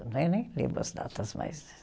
nem lembro as datas mais